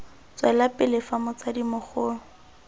tswela pele fa motsadi mogolo